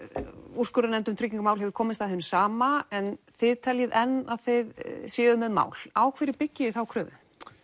úrskurðarnefnd um tryggingar mál hefur komist að hinu sama en þið teljið enn að þið séuð með mál á hverju byggið þið þá kröfu